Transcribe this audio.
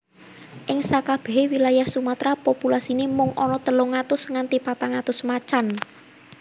Ing sakabéhé wilayah Sumatra populasiné mung ana telung atus nganti patang atus macan